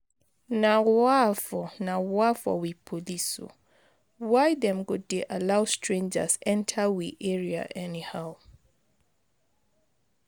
Na wa for na wa for we police o, why dem go dey allow strangers enta we area anyhow?